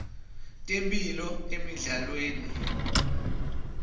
temphilo emidlalweni